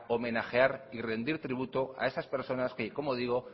homenajear y rendir tributo a esas personas que como digo